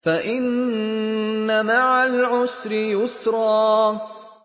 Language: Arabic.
فَإِنَّ مَعَ الْعُسْرِ يُسْرًا